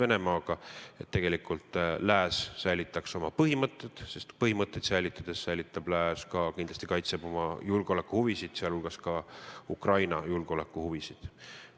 On vaja, et tegelikult lääs säilitaks oma põhimõtted, sest põhimõtteid säilitades kaitseb lääs kindlasti ka oma julgeolekuhuvisid, sh Ukraina julgeolekuhuvisid.